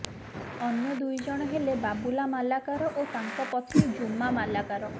ଅନ୍ୟ ଦୁଇଜଣ ହେଲେ ବାବୁଲା ମାଲାକାର ଓ ତାଙ୍କ ପତ୍ନୀ ଜୁମା ମାଲାକାର